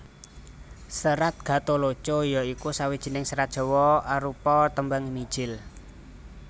Serat Gatholoco ya iku sawijining serat Jawa arupa tembang mijil